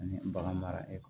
Ani bagan mara